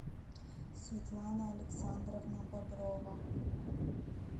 светлана александровна боброва